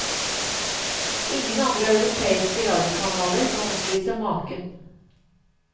Ingen andre europeiske radiokanaler kan oppvise maken.